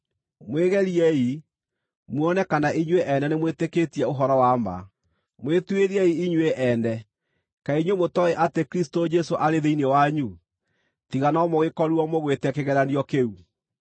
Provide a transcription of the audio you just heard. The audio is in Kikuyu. Mwĩgeriei, muone kana inyuĩ ene nĩ mwĩtĩkĩtie ũhoro wa ma; mwĩtuĩriei inyuĩ ene. Kaĩ inyuĩ mũtooĩ atĩ Kristũ Jesũ arĩ thĩinĩ wanyu, tiga no mũgĩkorirwo mũgwĩte kĩgeranio kĩu?